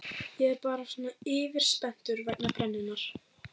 Ég er bara svona yfirspenntur vegna brennunnar.